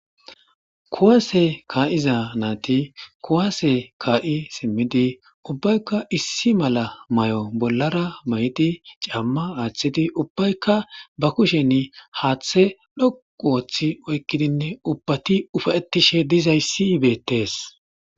kuwaase kaa7iza naati kuwaase kaa7i simmidi ubbaykka issi mala may7o bollara may7di camma aaththidi ubbaykka ba kushen haaththe dhoqu ooththi oykkidinne ubbati ufayetishe dizayssi yibeettees